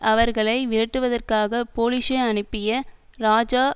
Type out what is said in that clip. அவர்களை விரட்டுவதற்காக பொலிஸை அனுப்பிய இராஜா